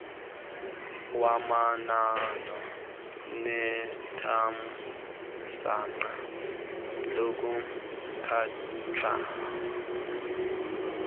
wabanalo nethamsanqa lokukhatshwa